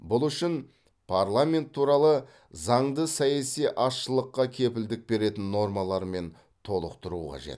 бұл үшін парламент туралы заңды саяси азшылыққа кепілдік беретін нормалармен толықтыру қажет